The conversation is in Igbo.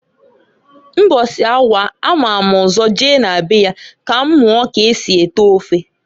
Mbọsi anwa a mam ụzọ je na be ya ka m muo k'esi ete ofe.